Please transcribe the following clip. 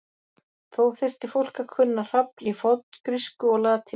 Þó þyrfti fólk að kunna hrafl í forngrísku og latínu.